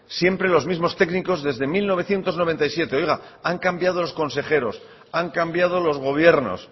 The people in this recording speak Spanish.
siempre los mismos técnicos desde mil novecientos noventa y siete oiga han cambiado los consejeros han cambiado los gobiernos